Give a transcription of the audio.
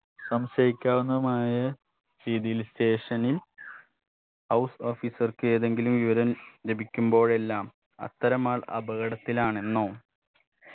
സംശയിക്കാവുന്നതുമായ രീതിയിൽ station ൽ house officer ക്ക് ഏതെങ്കിലും വിവരം ലഭിക്കുമ്പോഴെല്ലാം അത്തരം ആൾ അപകടത്തിലാണെന്നോ